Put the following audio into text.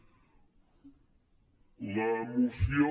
la moció